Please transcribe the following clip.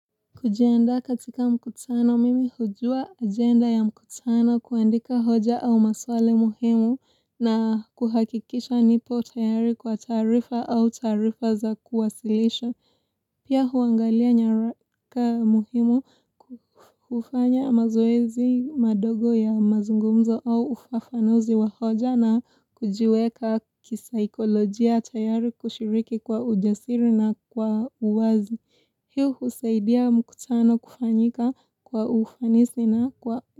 Kujiandaa katika mkutano, mimi hujua agenda ya mkutano kuandika hoja au maswali muhimu na kuhakikisha nipo tayari kwa taarifa au taarifa za kuwasilisha. Pia huangalia nyaraka muhimu kufanya mazoezi madogo ya mazungumzo au ufafanuzi wa hoja na kujiweka kisaikolojia tayari kushiriki kwa ujasiri na kwa uwazi. Hii husaidia mkutano kufanyika kwa ufanisi na kwa.